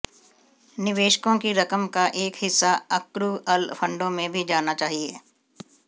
निवेशकों की रकम का एक हिस्सा अक्रु अल फंडों में भी जाना चाहिए